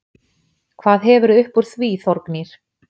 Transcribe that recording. Hvað hefurðu uppúr því Þórgnýr?!